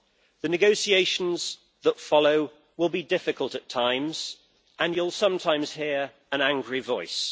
The negotiations that follow will be difficult at times, and you will sometimes hear an angry voice.